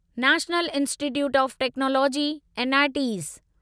national Institute of Technology NITs